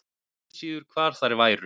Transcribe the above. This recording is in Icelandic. Og ekki síður hvar þær væru.